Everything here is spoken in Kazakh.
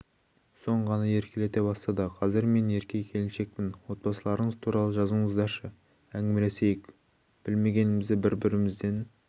соң ғана еркелете бастады қазір мен ерке келіншекпін отбасыларыңыз туралы жазыңыздаршы әңгімелесейік білмегенімізді бір бірімізден